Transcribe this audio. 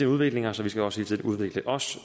udviklinger så vi skal også hele tiden udvikle os